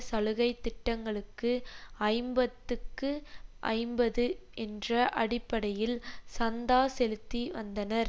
சலுகைத்திட்டங்களுக்கு ஐம்பத்துக்கு ஐம்பது என்ற அடிப்படையில் சந்தா செலுத்தி வந்தனர்